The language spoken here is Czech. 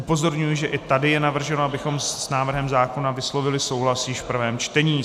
Upozorňuji, že i tady je navrženo, abychom s návrhem zákona vyslovili souhlas již v prvém čtení.